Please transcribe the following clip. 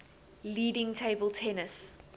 leading table tennis